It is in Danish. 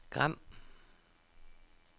Gram